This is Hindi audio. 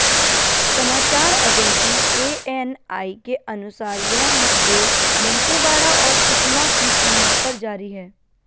समाचार एजेंसी एएनआई के अनुसार यह मुठभेड़ दंतेवाड़ा और सुकमा की सीमा पर जारी है